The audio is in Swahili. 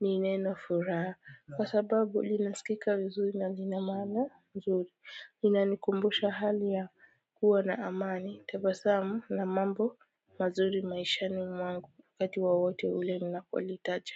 ni neno furaha kwa sababu linasikika vizuri na lina maana nzuri linanikumbusha hali ya kuwa na amani tabasamu na mambo mazuri maishani mwangu wakati wowote ule ninapolitaja.